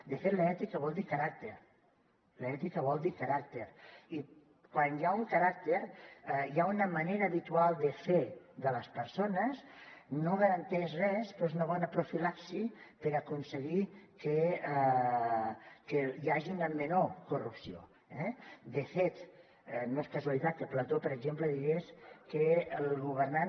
de fet l’ètica vol dir caràcter l’ètica vol dir caràcter i quan hi ha un caràcter hi ha una manera habitual de fer de les persones no garanteix res però és una bona profilaxi per aconseguir que hi hagi una menor corrupció eh de fet no és casualitat que plató per exemple digués que el governant